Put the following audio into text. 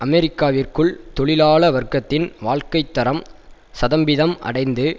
அமெரிக்காவிற்குள் தொழிலாள வர்க்கத்தின் வாழ்க்கை தரம் ஸதம்பிதம் அடைந்தது